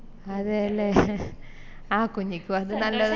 അതയല്ലേ ആഹ് കുഞ്ഞിക്കും അത് നല്ല ഒര്